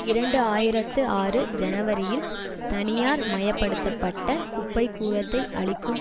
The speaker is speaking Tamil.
இரண்டு ஆயிரத்து ஆறு ஜனவரியில் தனியார்மயப்படுத்தப்பட்ட குப்பைக்கூளத்தை அழிக்கும்